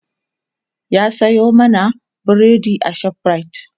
ya Sayo mana burodi a shoprite